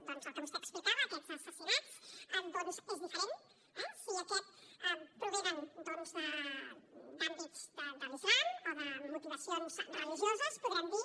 doncs al que vostè explicava aquests assassinats és diferent eh si aquests provenen d’àmbits de l’islam o de motivacions religioses podrem dir